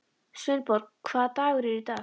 Sveinborg, hvaða dagur er í dag?